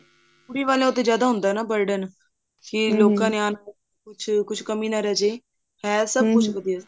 ਕੁੜੀ ਵਾਲੀਆਂ ਤੇ ਜਿਆਦਾ ਹੁੰਦਾ ਨਾ burden ਜੇ ਲੋਕਾਂ ਨੇ ਆਉਣਾ ਕੁਛ ਕਮੀ ਨਾ ਰਿਹ ਜੇ ਕੁਛ ਵਧੀਆ ਸੀ